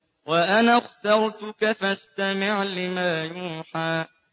وَأَنَا اخْتَرْتُكَ فَاسْتَمِعْ لِمَا يُوحَىٰ